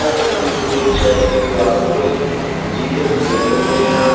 जिसमें पूरी चर्च की दीवालों पे जीसस बने हुए हैं।